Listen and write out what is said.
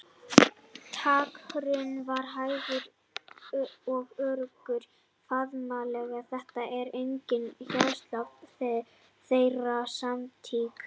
Takturinn var hægur og öruggur, faðmlagið þétt og innilegt hjartsláttur þeirra samstíga.